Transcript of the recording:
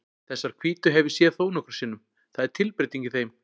Þessar hvítu hef ég séð þónokkrum sinnum, það er tilbreyting í þeim.